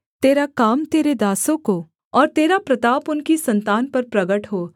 तेरा काम तेरे दासों को और तेरा प्रताप उनकी सन्तान पर प्रगट हो